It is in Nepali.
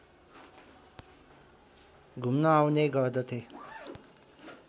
घुम्न आउने गर्दथे